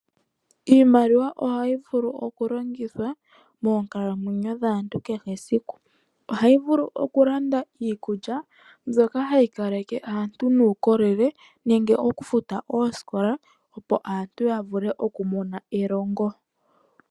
Iimaliwa ohayi vulu okulongithwa moonkalamweyo dhaantu kehe esiku. Ohayi vulu okulanda iikulya mbyoka hayi kaleke aantu nuukolele, nenge okufuta oosikola opo aantu ya vule okumona elongo.